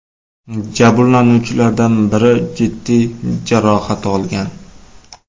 Jabrlanuvchilardan biri jiddiy jarohat olgan.